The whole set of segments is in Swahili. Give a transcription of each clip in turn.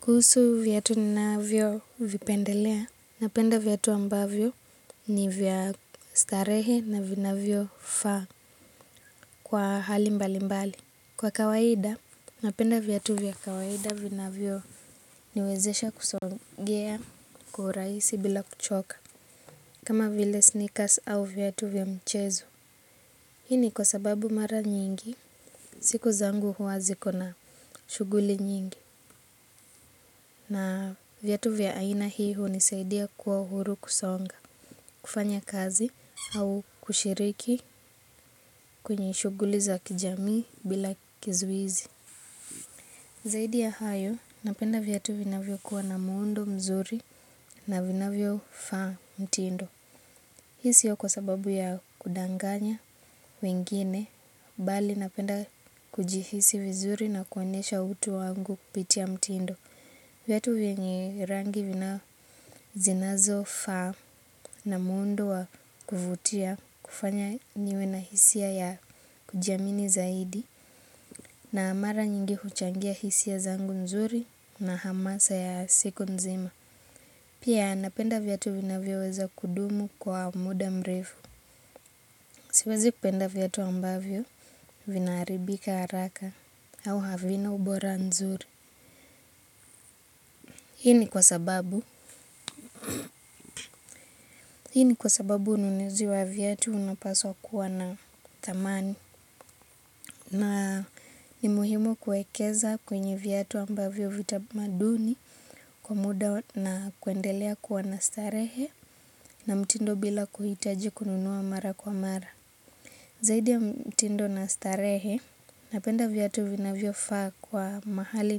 Kuhusu viatu ninavyovipendelea. Napenda viatu ambavyo ni vya starehe na vinavyofaa kwa hali mbali mbali. Kwa kawaida, napenda viatu vya kawaida vinavyoniwezesha kusongea kwa urahisi bila kuchoka. Kama vile sneakers au viatu vya mchezo. Hii ni kwa sababu mara nyingi, siku zangu huwa zikona shuguli nyingi na viatu vya aina hii hunisaidia kuwa uhuru kusonga, kufanya kazi au kushiriki kwenye shughuli za kijami bila kizuizi. Zaidi ya hayo, napenda viatu vinavyokuwa na muundo mzuri na vinavyo faa mtindo. Hii sio kwa sababu ya kudanganya wengine, mbali napenda kujihisi vizuri na kuonyesha utu wangu kupitia mtindo. Viatu vyenye rangi zinazofaa na muundo wa kuvutia kufanya niwe na hisia ya kujiamini zaidi na mara nyingi huchangia hisia zangu nzuri na hamasa ya siku nzima. Pia napenda viatu vinavyoweza kudumu kwa muda mrefu. Siwezi kupenda viatu ambavyo vinaharibika haraka au havina ubora nzuri. Hii ni kwa sababu. Hii ni kwa sababu ununizi wa viatu unapaswa kuwa na dhamani. Na ni muhimu kuekeza kwenye viatu ambavyo vitamaduni kwa muda na kuendelea kwa na starehe na mtindo bila kuhitaji kununua mara kwa mara. Zaidi ya mtindo na starehe, napenda viatu vinavyofaa kuwa mahali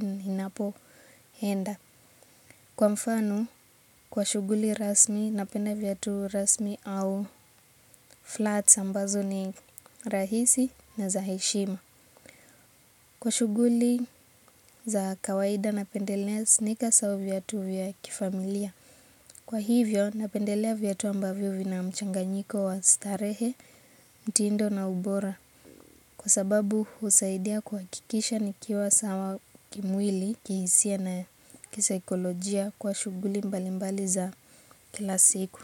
ninapoenda. Kwa mfano, kwa shughuli rasmi, napenda viatu rasmi au flats ambazo ni rahisi na za heshima. Kwa shuguli za kawaida napendelea sneaker sababu viatu vya kifamilia. Kwa hivyo napendelea viatu ambavyo vina mchanganyiko wa starehe, mtindo na ubora. Kwa sababu husaidia kuhakikisha nikiwa sawa kimwili kihisia na kisikolojia kwa shughuli mbali mbali za kila siku.